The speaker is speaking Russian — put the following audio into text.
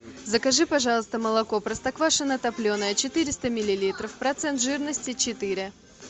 закажи пожалуйста молоко простоквашино топленое четыреста миллилитров процент жирности четыре